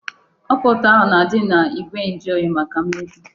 Ọka ụtọ ahụ na-adị n'igwe njuoyi, maka imebi.